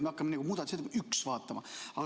Me hakkame vaatama muudatusettepanekut nr 1.